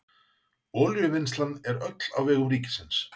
Olíuvinnslan er öll á vegum ríkisins.